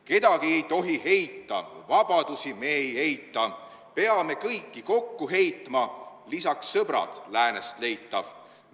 Kedagi ei tohi heita, vabadusi me ei eita, peame kõiki kokku heitma, lisaks sõbrad – läänest leitav.